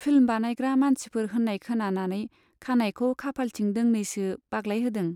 Film बानायग्रा मानसिफोर होन्नाय खोनानानै खानाइखौ खाफालथिं दोंनैसो बाग्लायहोदों।